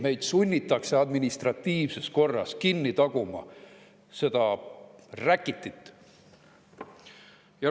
Ei, meid sunnitakse administratiivses korras kinni taguma seda räkitit.